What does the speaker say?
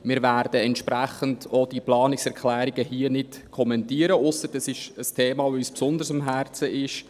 Wir werden entsprechend auch diese Planungserklärungen hier nicht kommentieren, es sei denn, es ginge um ein Thema, welches uns besonders am Herzen liegt.